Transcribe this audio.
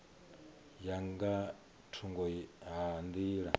ya nga thungo ha nḓila